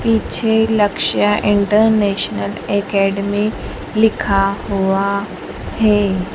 पीछे Lakshya international academy लिखा हुआ है।